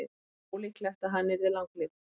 það er ólíklegt að hann yrði langlífur